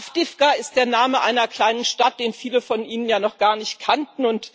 Awdijiwka ist der Name einer kleinen Stadt, den viele von Ihnen ja noch gar nicht kannten.